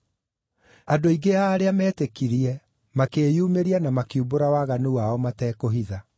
Andũ aingĩ a arĩa meetĩkirie makĩyumĩria na makiumbũra waganu wao matekũhitha.